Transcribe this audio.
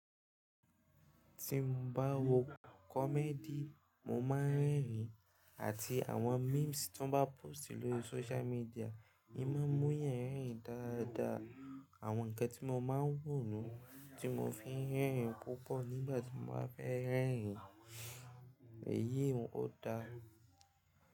Tí mo bá wo comedy mo má ń rẹ́rìín. Àti àwọn memes tí wọ́n bá póst lori sócial media, è ma ń mú yan rẹ́rìn dáadáa. Àwọn nǹkan tí mo ma ń wò nu ni tí mo fi ń rẹ́rìn púpọ̀ nígbà tí mo bá fẹ́ rẹ́rìn. Èyí ò dá.